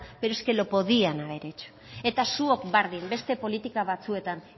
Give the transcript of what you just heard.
pero es que lo podían haber hecho eta zuok berdin beste politika batzuetan